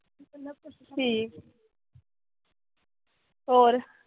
ਠੀਕ ਹੋਰ